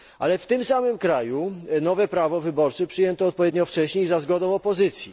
Ale w tym samym kraju nowe prawo wyborcze przyjęto odpowiednio wcześniej za zgodą opozycji.